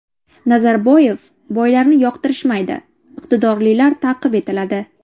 Nazarboyev: Boylarni yoqtirishmaydi, iqtidorlilar ta’qib etiladi.